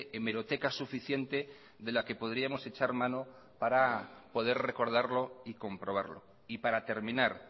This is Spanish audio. hemeroteca suficiente de la que podríamos echar mano para poder recordarlo y comprobarlo y para terminar